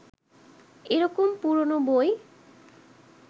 এরকম পুরনো বই